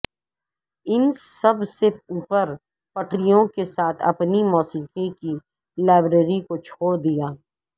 ان سب سے اوپر پٹریوں کے ساتھ اپنی موسیقی کی لائبریری کو چھوڑ دیا